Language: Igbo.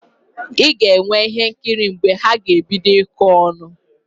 Ị ga-enwe ihe nkiri mgbe ha ga-ebido ịkọ ọnụ